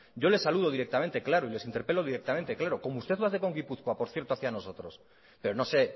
yo le saludo directamente claro y les interpelo directamente claro como usted lo hace con gipuzkoa por cierto hacía nosotros pero no se